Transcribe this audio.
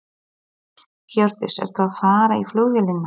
Hjördís: Ertu að fara í flugvélina?